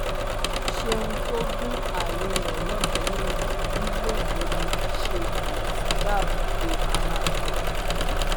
ṣéun tó gun alẹ rẹ lọbẹ lọńdọ nì lọńdọ nì ṣe lòún fi dáàbò bo ara òun